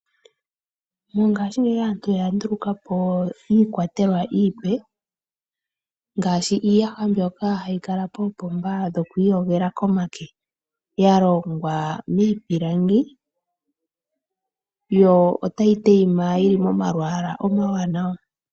Mongashingeyi aantu oya ndulukapo iikwatelwa iipe, ngashi iiyaha mbyoka hayi kala poopomba dhokwiiyogela koonyala, ya longwa miipilangi, yo otayi tayima yili momalwaala omawanawa.